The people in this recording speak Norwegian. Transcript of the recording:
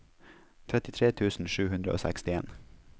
trettitre tusen sju hundre og sekstien